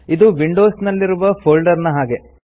ಇದು ವಿಂಡೋಸ್ ನಲ್ಲಿರುವ ಫೋಲ್ಡರ್ ನ ಹಾಗೆ